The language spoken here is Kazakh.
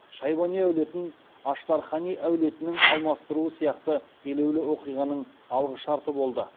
шайбани әулетін аштархани әулетінің алмастыруы сияқты елеулі оқиғаның алғы шарты болды